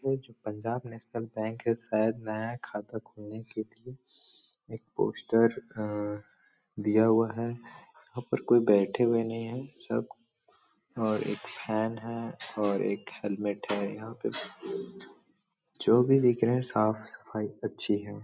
जो Punjab national bank है। शायद नया खाता खोलने के लिए एक पोस्टर अ दिया हुआ है। यहाँ पर कोई बैठे हुए नहीं है सब और एक फैन है और एक हेलमेट है यहाँ पे जो भी दिख रहें है साफ सफाई अच्छी है।